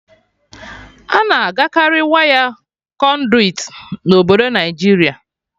Ana agakarị waya Konduit na obodo Naịjiria